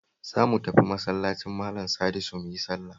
Zo mu tafi Masallacin Malan Sadisu mu yi sallah